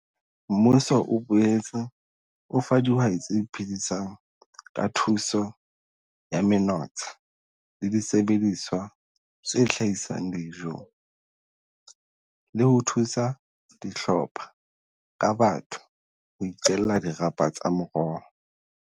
Mmuso o boetse o fa dihwai tse iphedisang ka thuso ya menotsha le disebediswa tse hlahisang dijo, le ho thusa dihlopha ka batho ho iqella dirapa tsa meroho.